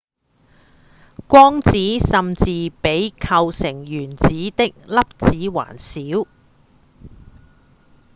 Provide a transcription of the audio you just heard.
光子甚至比構成原子的粒子還小！